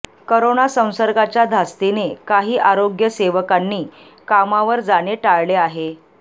corona संसर्गाच्या धास्तीने काही आरोग्य सेवकांनी कामावर जाणे टाळले आहे